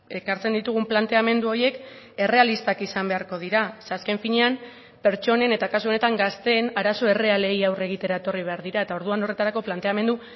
ekartzen ditugun planteamendu horiek errealistak izan beharko dira ze azken finean pertsonen eta kasu honetan gazteen arazo errealei aurre egitera etorri behar dira eta orduan horretarako planteamendu